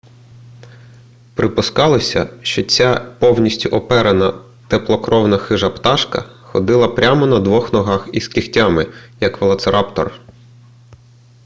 припускалося що ця повністю оперена теплокровна хижа пташка ходила прямо на двох ногах із кігтями як велоцираптор